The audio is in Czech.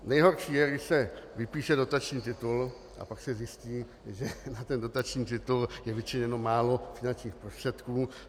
Nejhorší je, když se vypíše dotační titul, a pak se zjistí, že na ten dotační titul je vyčleněno málo finančních prostředků.